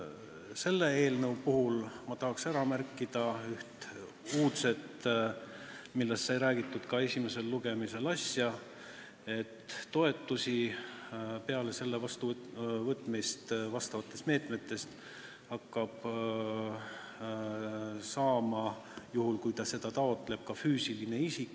Selle eelnõu puhul ma tahaksin märkida üht uudset asja, millest sai räägitud ka esimesel lugemisel: toetusi hakkab peale selle seaduse vastuvõtmist asjaomaste meetmete raames saama – juhul, kui ta seda taotleb – ka füüsiline isik.